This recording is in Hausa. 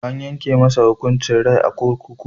A yanke masa hukuncin rai a kunkuru.